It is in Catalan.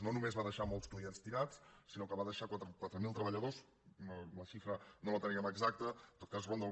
no només va deixar molts clients tirats sinó que va deixar quatre mil treballadors la xifra no la teníem exacta en tot cas ronda